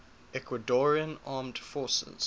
ecuadorian armed forces